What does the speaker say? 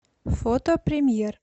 фото премьер